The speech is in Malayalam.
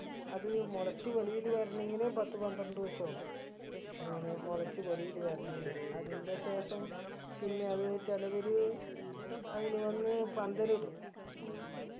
അത് മുളച്ചു വെളിയിൽ വരണെങ്കിൽ പത്ത് പന്ത്രണ്ടോസം ആവും അങ്ങനെ മുളച്ച് വെളിയിൽ വരണെങ്കി അതിൻറെ ശേഷം പിന്നെ അത് ചിലവര് അതിന് വന്ന് പന്തലിടും